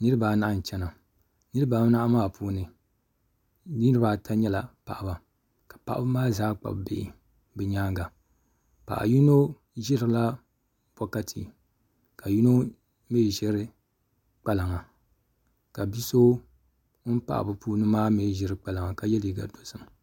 Niraba anahi n chɛna niraba anahi maa puuni niraba ata nyɛla paɣaba ka paɣaba maa zaa kpabi bihi bi myaanga paɣa yino ʒirila bokati ka yino mii ʒiri kpalaŋa ka bia so ŋun pahi bi puuni maa mii ʒiri kpalaŋa ka yɛ liiga dozim